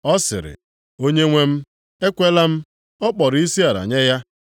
Ọ sịrị, “Onyenwe m, ekwela m.” Ọ kpọrọ isiala nye ya.